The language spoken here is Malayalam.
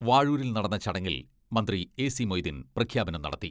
വാഴൂരിൽ നടന്ന ചടങ്ങിൽ മന്ത്രി എസി മൊയ്തീൻ പ്രഖ്യാപനം നടത്തി.